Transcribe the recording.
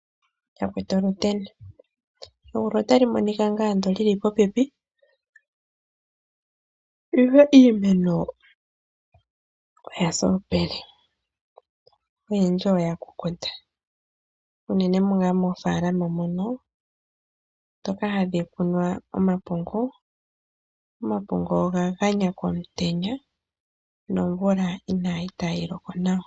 Yakwetu oluteni! Egulu otali monika ngaa li li popepi, ihe iimeno oya sa omupele. Oyendji oya kukuta, unene ngaa moofaalama mono ndhoka hadhi kunwa omapungu, omapungu oga ganya komutenya komutenya nomvula itayi loko nawa.